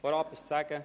Vorab ist zu sagen: